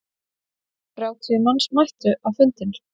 Þrjátíu manns mættu á fundinn.